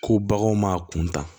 Ko baganw m'a kuntaa